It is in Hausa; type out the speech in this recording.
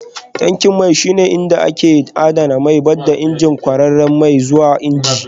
Tankin mai shine inda ake adana mai, ba da izinin kwararar mai zuwa injin